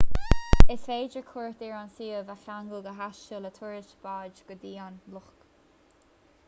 is féidir cuairt ar an suíomh a cheangal go háisiúil le turas báid go dtí an loch